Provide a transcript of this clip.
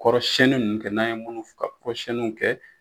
Kɔrɔ siɲɛni nunnu kɛ n'an ye munnu kɔrɔ siɲɛnniw kɛ